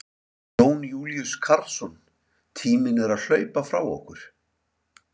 Jón Júlíus Karlsson: Tíminn er að hlaupa frá ykkur?